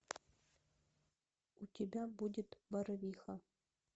у тебя будет барвиха